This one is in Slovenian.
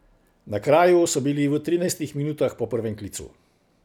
Na kraju so bili v trinajstih minutah po prvem klicu.